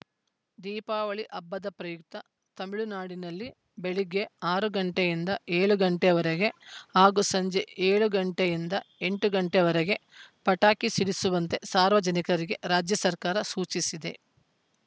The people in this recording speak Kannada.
ದೀಪಾವಳಿ ಹಬ್ಬದ ಪ್ರಯುಕ್ತ ತಮಿಳುನಾಡಿನಲ್ಲಿ ಬೆಳಗ್ಗೆ ಆರು ಗಂಟೆಯಿಂದ ಏಳು ಗಂಟೆವರೆಗೆ ಹಾಗೂ ಸಂಜೆ ಏಳು ಗಂಟೆಯಿಂದ ಎಂಟು ಗಂಟೆವರೆಗೆ ಪಟಾಕಿ ಸಿಡಿಸುವಂತೆ ಸಾರ್ವಜನಿಕರಿಗೆ ರಾಜ್ಯ ಸರ್ಕಾರ ಸೂಚಿಸಿದೆ